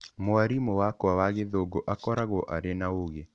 Mwarimũ wakwa wa Gĩthũngũ akoragwo arĩ na ũũgĩ.